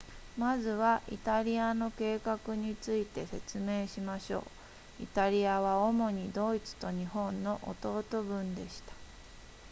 まずはイタリアの計画について説明しましょうイタリアは主にドイツと日本の弟分でした